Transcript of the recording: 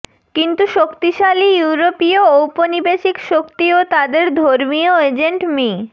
কিন্তু শক্তিশালী ইউরোপিয় ঔপনিবেশিক শক্তি ও তাদের ধর্মীয় এজেন্ট মি